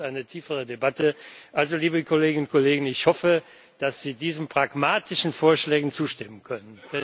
Das braucht eine tiefere Debatte. Also, liebe Kolleginnen und Kollegen Ich hoffe, dass Sie diesen pragmatischen Vorschlägen zustimmen können.